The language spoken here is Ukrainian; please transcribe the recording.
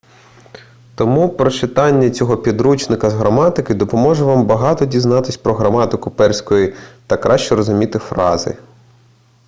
тому прочитання цього підручника з граматики допоможе вам багато дізнатися про граматику перської та краще розуміти фрази